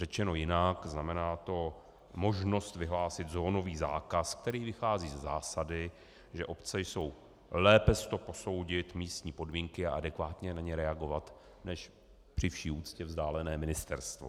Řečeno jinak, znamená to možnost vyhlásit zónový zákaz, který vychází ze zásady, že obce jsou lépe s to posoudit místní podmínky a adekvátně na ně reagovat než při vší úctě vzdálené ministerstvo.